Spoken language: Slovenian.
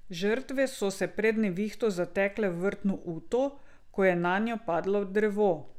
Žrtve so se pred nevihto zatekle v vrtno uto, ko je nanjo padlo drevo.